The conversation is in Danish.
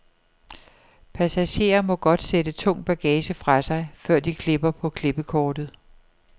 Passagerer må godt sætte tung bagage fra sig, før de klipper på klippekortet.